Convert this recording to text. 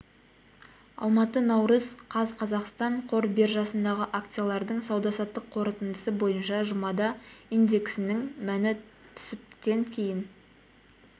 алматы наурыз қаз қазақстан қор биржасындағы акциялардың сауда-саттық қорытындысы бойынша жұмада индексінің мәні түсіп тен дейін